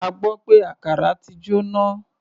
A gbọ́ pé àkàrà ti jóná.